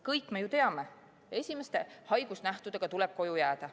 Kõik me ju teame, et esimeste haigusnähtudega tuleb koju jääda.